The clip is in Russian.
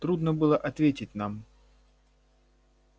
трудно было ответить нам